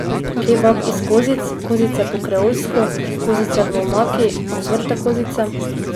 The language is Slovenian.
Kebab iz kozic, kozice po kreolsko, kozice v omaki, ocvrte kozice ...